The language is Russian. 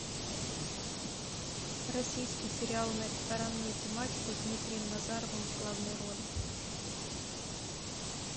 российский сериал на ресторанную тематику с дмитрием назаровым в главной роли